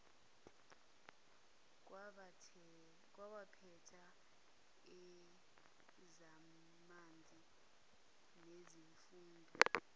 kwabaphethe ezamanzi nesifunda